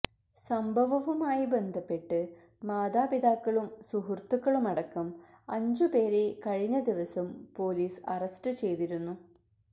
സംഭവവുമായി ബന്ധപ്പെട്ട് മാതാപിതാക്കളും സുഹൃത്തുക്കളുമടക്കം അഞ്ചുപേരെ കഴിഞ്ഞ ദിവസം പോലീസ് അറസ്റ്റ് ചെയ്തിരുന്നു